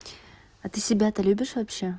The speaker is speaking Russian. а ты себя-то любишь вообще